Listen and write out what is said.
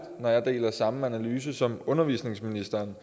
at have den samme analyse som undervisningsministeren